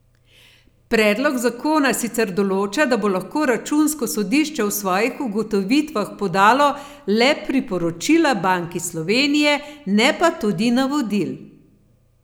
Predlog zakona sicer določa, da bo lahko računsko sodišče v svojih ugotovitvah podalo le priporočila Banki Slovenije, ne pa tudi navodil.